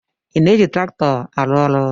Ị na-eji traktọ arụ ọrụ?